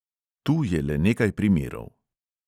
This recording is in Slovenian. Tu je le nekaj primerov.